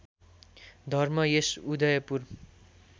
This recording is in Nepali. धर्म यस उदयपुर